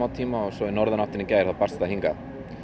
tíma og svo í norðanátt í gær barst það hingað